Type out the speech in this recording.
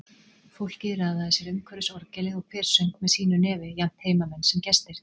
Fólkið raðaði sér umhverfis orgelið, og hver söng með sínu nefi, jafnt heimamenn sem gestir.